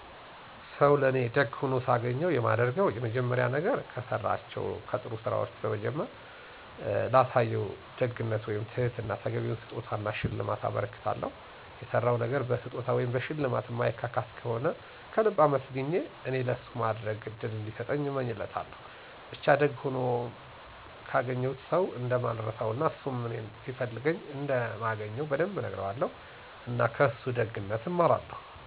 ሰው ለእኔ ለደግ ሆኖ ሳገኘው የማደርገው የመጀመሪያ ነገር፤ ከሠራቸው ከጥሩ ስራወቹን በመዘርዘር እጀምር እና ላሳየው ደግነት ወይም ትህትና ተገቢውን ስጦታ እና ሽልማት አበረክትለታለሁ። የሠራው ነገር በስጦታ ወይም በሽልማት ማይካስ ከሆነ ከልብ አመስግኘ እኔ ለሱ የማድረግ እድል እንዲሰጠኝ እመኛለሁ። ብቻ ደግ ሆኖል ያገኘሁትን ሠው እንደማልረሳው እና እሱም እኔን ሲፈልገኝ እንደምገኝ በደንብ እነግረዋለሁ። እና ከእሱ ደግነት እማራለሁ።